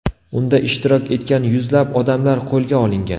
Unda ishtirok etgan yuzlab odamlar qo‘lga olingan.